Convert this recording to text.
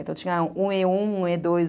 Então, tinha um e um, um e dois